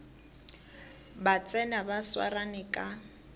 ba tsena ba swarane ka